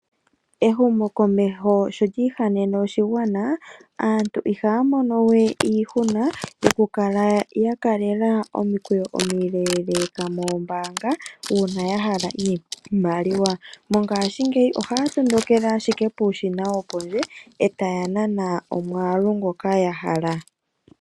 Ehumokomeho sho lyiihanene oshigwana aantu ihaya mono we iihuna yoku kala ya kalela omikweyo omiileleka moombanga una yahala iimaliwa. Mongashingeyi ohaya tondokele ashike puushina wopondje etaya nana omwaalu ngoka yahala.